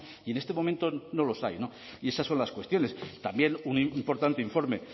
y en este momento no los hay y esas son las cuestiones también un importante informe